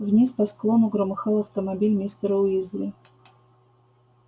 вниз по склону громыхал автомобиль мистера уизли